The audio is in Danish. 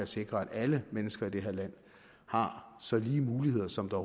sikre at alle mennesker i det her land har så lige muligheder som der